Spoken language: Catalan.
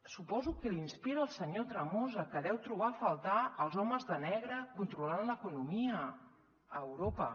suposo que la inspira el senyor tremosa que deu trobar a faltar els homes de negre controlant l’economia a europa